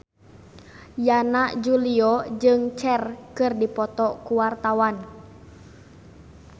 Yana Julio jeung Cher keur dipoto ku wartawan